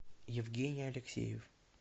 евгений алексеев